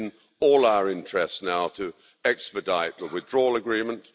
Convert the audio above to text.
It's in all our interests now to expedite the Withdrawal Agreement.